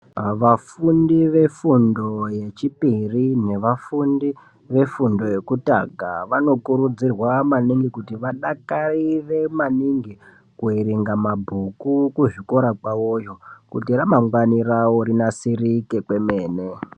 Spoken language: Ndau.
Vafundi vefundo yechipiri nevafundi vefundo yekutanga, vanokurudzirwa maningi kuti vadakarire maningi kuverenga mabhuku kuzvikora kwawoyo kuti ramangwani rawo rinasirike kwemene.